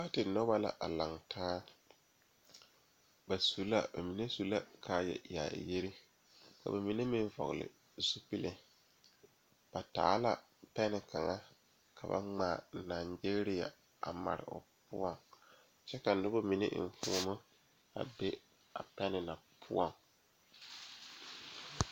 Noba la a kyɛne bamine de la wiɛ a yeere yeere baagre kaŋa soba meŋ e la gbɛre a zeŋ gbɛre saakere poɔ kyɛ kaa kaŋa soba paŋ daare o ,o meŋ yeere la baagi o puori.